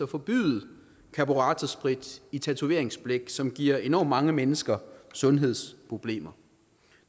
forbyde karburatorsprit i tatoveringsblæk som giver enormt mange mennesker sundhedsproblemer